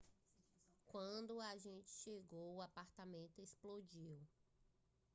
quando o agente chegou o apartamento explodiu